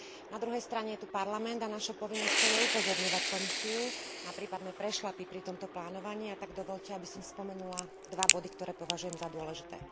Na druhej strane je tu Parlament a našou povinnosťou je upozorňovať Komisiu na prípadné prešľapy pri tomto plánovaní, a tak dovoľte, aby som spomenula dva body, ktoré považujem za dôležité.